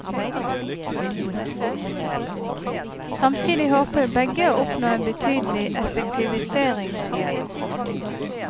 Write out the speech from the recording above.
Samtidig håper begge å oppnå en betydelig effektiviseringsgevinst.